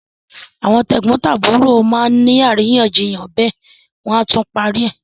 Àwọn tẹ̀gbọ́ntàbúrò má ni àríyànjiyàn bẹ́ẹ̀ wọ́n á tún parí ẹ̀.